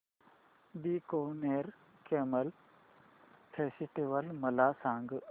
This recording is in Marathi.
बीकानेर कॅमल फेस्टिवल मला सांग